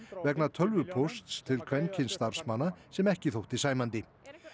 vegna tölvupósts til kvenkyns starfsmanna sem ekki þótti sæmandi